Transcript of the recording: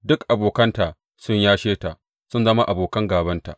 Duk abokanta sun yashe ta; sun zama abokan gābanta.